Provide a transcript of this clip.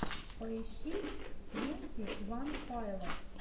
поищи твенти ван пайлотс